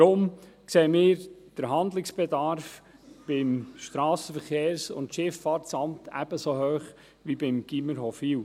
Deswegen sehen wir den Handlungsbedarf beim SVSA ebenso hoch wie beim Gymnasium Hofwil.